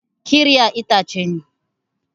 Ƙirya itace ne.